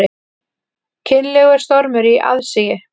Kynlegur stormur í aðsigi